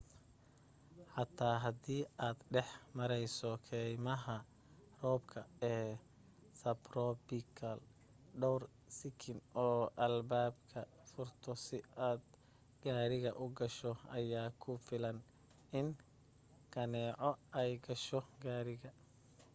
xataa haddii aad dhex mareyso keymaha roobka ee sabtrobikalka dhoor sikin oo albaabada furto si aad gaariga u gasho ayaa ku filan in kaneeco ay gasho gaariga